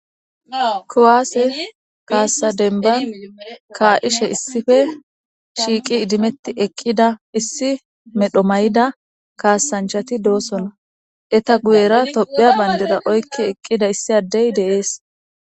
Kuwase kase demban ka'ishe issipe shiiqi ddimeti eqiidaissi medho mayida kassanchati de'osona.eta guyera Tophphiya bandra oykki eqqida issi adey de'ees.